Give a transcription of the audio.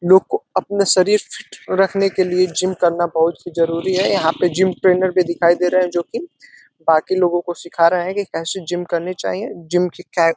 लोग को अपना शरीर फिट रखने के लिए जिम करना बहुत ही जरूरी है यहाँ पे जिम ट्रेनर भी दिखाई दे रहे है जोकि बाकि लोगों को सीखा रहा है की कैसे जिम करने चाहिए जिम की --